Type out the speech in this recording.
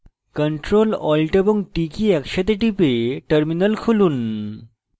ctrl alt এবং t key একসাথে টিপে terminal খুলুন